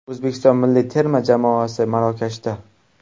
O‘zbekiston milliy terma jamoasi Marokashda .